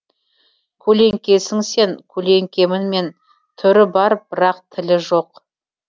көлеңкесің сен көлеңкемін мен түрі бар бірақ тілі жоқ